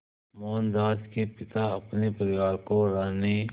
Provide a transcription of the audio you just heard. मोहनदास के पिता अपने परिवार को रहने